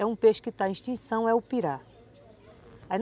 É um peixe que está em extinção, é o pirá.